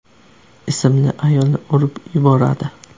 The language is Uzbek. ismli ayolni urib yuboradi.